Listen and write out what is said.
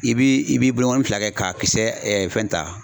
I b'i i b'i bolokɔnɔni fila kɛ k'a kisɛ fɛn ta